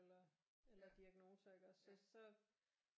Eller eller diagnoser iggås så så